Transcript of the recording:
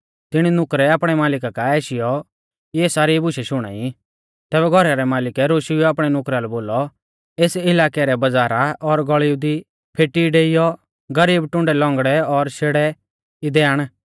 तिणी नुकरै आपणै मालिका काऐ आशीयौ इऐ सारी बुशै शुणाई तैबै घौरा रै मालिकै रोशुईयौ आपणै नुकरा लै बोलौ एस इलाकै रै बज़ारा और गल़ीऊ दी फेटी डेईयौ गरीब टुण्डै लौंगड़ै और शेड़ै इदै आण